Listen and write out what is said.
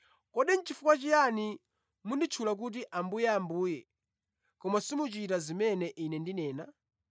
“Kodi nʼchifukwa chiyani munditchula kuti, ‘Ambuye, Ambuye’ koma simuchita zimene Ine ndinena?